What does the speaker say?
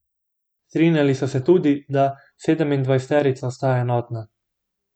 Strinjali so se tudi, da sedemindvajseterica ostaja enotna.